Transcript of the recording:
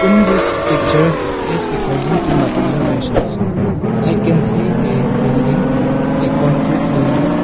In this picture as according to my observation I can see a building a concrete building.